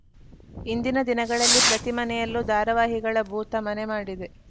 ಇಂದಿನ ದಿನಗಳಲ್ಲಿ ಪ್ರತಿ ಮನೆಯಲ್ಲೂ ಧಾರಾವಾಹಿಗಳ ಭೂತ ಮನೆ ಮಾಡಿದೆ